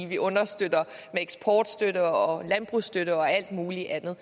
vi understøtter med eksportstøtte og landbrugsstøtte og alt mulig andet